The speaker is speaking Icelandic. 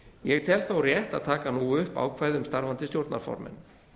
ég tel þó rétt að taka nú upp ákvæði um starfandi stjórnarformenn